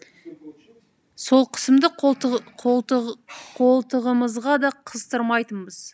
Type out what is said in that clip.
сол қысымды қолтығымызға да қыстырмайтынбыз